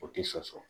O tɛ sɔsɔ